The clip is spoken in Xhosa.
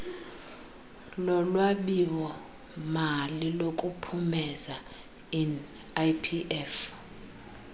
lolwabiwomali lokuphumeza inlpf